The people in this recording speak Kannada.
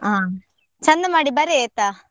ಹ, ಚಂದ ಮಾಡಿ ಬರೆ ಆಯ್ತಾ.